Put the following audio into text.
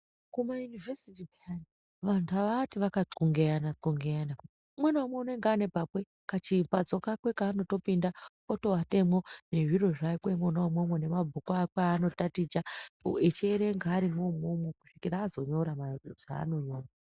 Kumayunivhesiti peyani vantu aati akanxlongeyananxlongeyana umwe naumwe unenge anepakwe kachimbatso kake kaanotopinda otoatemwo nezviro zvakwe mwona umwo mwo nemabhuku akwe anotaticha echierenga arimwo umwomwo kusvikira azonyora mazama anonyora.